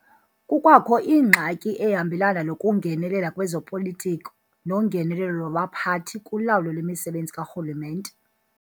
Kukwakho ingxaki ehambelana nokungenelela kwezopolitiko nongenelelo lwabaphathi kulawulo lwemisebenzi karhulumente.